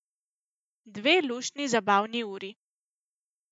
Dve luštni zabavni uri.